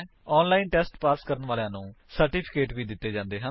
online test pass ਕਰਨ ਵਾਲਿਆਂ ਨੂੰ ਸਰਟੀਫਿਕੇਟ ਵੀ ਦਿੱਤੇ ਜਾਂਦੇ ਹਨ